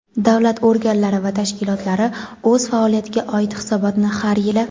davlat organlari va tashkilotlari o‘z faoliyatiga oid hisobotni har yili:.